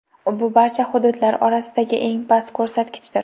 Bu barcha hududlar orasidagi eng past ko‘rsatkichdir.